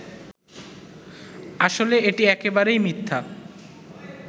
আসলে এটি একেবারেই মিথ্যা